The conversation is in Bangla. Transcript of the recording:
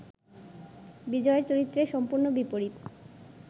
বিজয়ের চরিত্রের সম্পূর্ণ বিপরীত